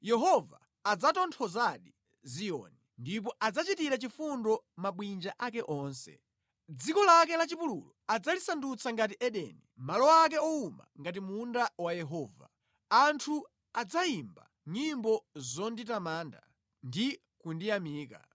Yehova adzatonthozadi Ziyoni, ndipo adzachitira chifundo mabwinja ake onse; Dziko lake la chipululu adzalisandutsa ngati Edeni, malo ake owuma ngati munda wa Yehova. Anthu adzayimba nyimbo zonditamanda ndi kundiyamika.